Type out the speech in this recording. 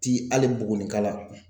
Tɛ hali Bugunika la